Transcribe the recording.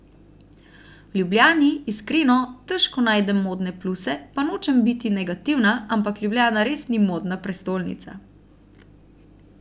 V Ljubljani, iskreno, težko najdem modne pluse, pa nočem biti negativna, ampak Ljubljana res ni modna prestolnica.